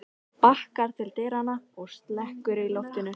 Hún bakkar til dyranna og slekkur í loftinu.